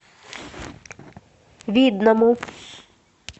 видному